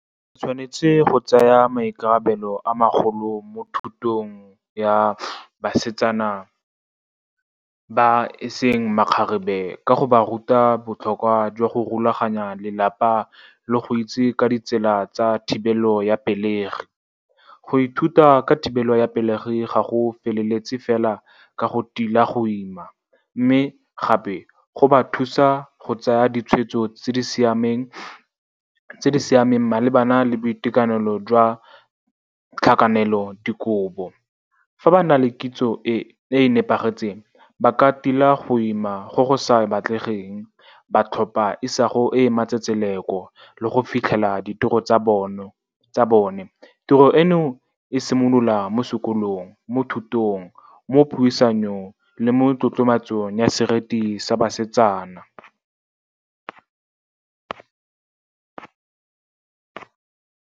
O tshwanetse go tsaya maikarabelo a magolo mo thutong ya basetsana ba e seng makgarebe, ka go ba ruta botlhokwa jwa go rulaganya lelapa le go itse ka ditsela tsa thibelo ya pelegi. Go ithuta ka thibelo ya pelegi ga go feleletse fela ka go tila go ima, mme gape go ba thusa go tsaya ditshwetso tse di siameng malebana le boitekanelo jwa tlhakanelodikobo. Fa ba na le kitso e e nepagetseng, ba ka tila go ima go go sa batlegeng, ba tlhopha isago e e matsetseleko le go fitlhela ditiro tsa bone. Tiro eno e simolola mo sekolong, mo thutong, mo puisanong le mo tlotlomatsong ya seriti sa basetsana.